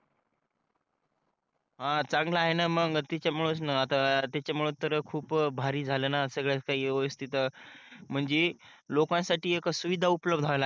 ह चांगल आहे न मग तिच्यामुळेच न आता तिच्यामुळेच त खूप भारी झाल न सगळ्याच काही व्यवस्तीत अं म्हणजे लोकांसाठी एक शुविधा उपलब्ध व्हायला